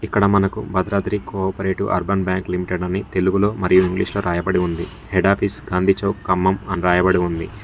ఇక్కడ మనకు Bhadradri cooperative urban bank limited అని తెలుగులో మరియు ఇంగ్లీషు లో రాయబడి ఉంది. హెడ్ ఆఫీస్ గాంధి చౌక్ ఖమ్మం అని రాయబడి ఉంది.